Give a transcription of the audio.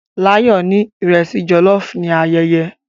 Layo ni iresi jollof ni ayẹyẹ